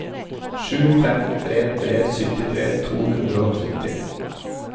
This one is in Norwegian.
sju fem tre tre syttitre to hundre og tretti